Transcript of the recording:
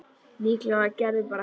Líklega var Gerður bara heima.